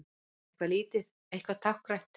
Bara eitthvað lítið, eitthvað táknrænt.